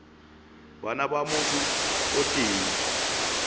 bana ba motho o tee